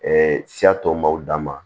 siya tɔ m'aw dama